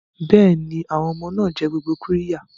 Bẹ́ẹ̀ni, àwọn ọmọ náà jẹ gbogbo qirya.